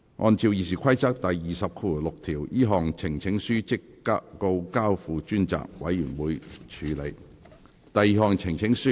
按照《議事規則》第206條，這項呈請書即告交付專責委員會處理。